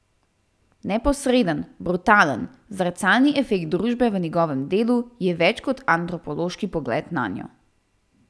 Neposreden, brutalen, zrcalni efekt družbe v njegovem delu je več kot antropološki pogled nanjo.